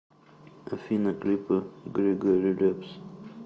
афина клипы григорий лепс